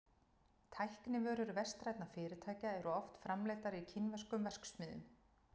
tæknivörur vestrænna fyrirtækja eru oft framleiddar í kínverskum verksmiðjum